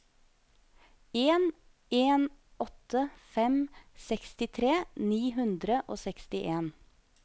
en en åtte fem sekstitre ni hundre og sekstien